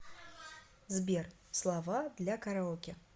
сбер слова для караоке